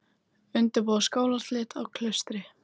Undirbúa skólaslit á Klaustri